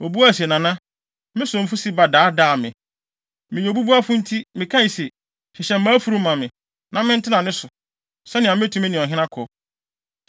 Obuae se, “Nana, me somfo Siba daadaa me. Meyɛ obubuafo nti, mekae se, ‘hyehyɛ mʼafurum ma me, na mentena ne so, sɛnea metumi ne ɔhene akɔ.’